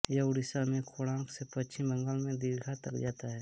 यह ओड़िशा में कोणार्क से पश्चिम बंगाल में दीघा तक जाता है